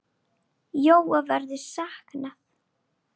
Jóa verður saknað.